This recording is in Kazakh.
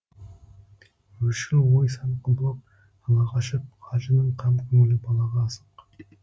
өршіл ой сан құбылып ала қашып қажының қам көңілі балаға асық